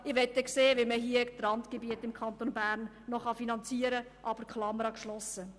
Ich möchte dann sehen, wie man im Kanton Bern die Randgebiete noch finanzieren kann.